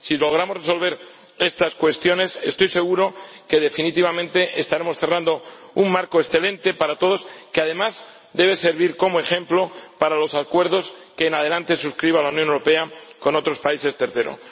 Si logramos resolver estas cuestiones, estoy seguro de que, definitivamente, estaremos cerrando un marco excelente para todos, que además debe servir como ejemplo para los acuerdos que en adelante suscriba la Unión Europea con otros países terceros.